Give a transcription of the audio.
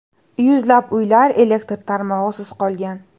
Yuzlab uylar elektr tarmog‘isiz qolgan.